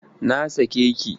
Na sake ki!